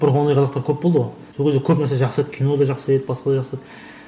бұрынғы ондай қазақтар көп болды ғой сол кезде көп нәрсе жақсы еді кино да жақсы еді басқа да жақсы еді